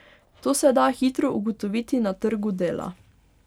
To se da hitro ugotoviti na trgu dela.